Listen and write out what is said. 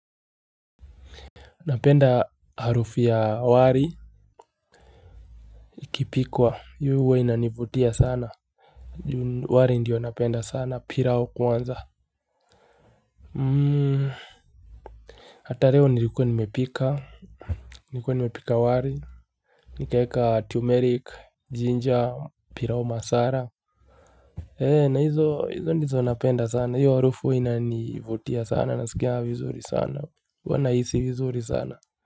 Napenda harufu ya wari, ikipikwa, yu huwa inanivutia sana. Wari ndiyo napenda sana, pirao kwanza. Hata reo nilikuwa nimepika, nilikuwa nimepika wari, nikaeka tumerik, jinja, pirao masara. He, na hizo, hizo ndizo napenda sana, yu harufu inanivutia sana, nasikia vizuri sana, huwa naisi vizuri sana.